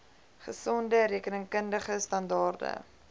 gesonde rekenkundige standaarde